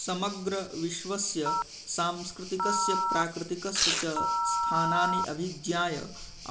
समग्रविश्वस्य सांस्कृतिकस्य प्राकृतिकस्य च स्थानानानि अभिज्ञाय